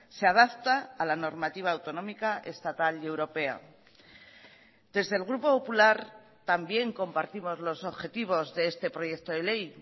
se adapta a la normativa autonómica estatal y europea desde el grupo popular también compartimos los objetivos de este proyecto de ley